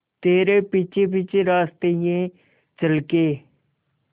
तेरे पीछे पीछे रास्ते ये चल के